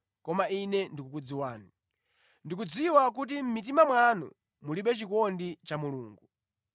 koma Ine ndikukudziwani. Ndikudziwa kuti mʼmitima mwanu mulibe chikondi cha Mulungu.